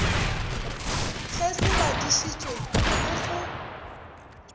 ge se badišitšwe le go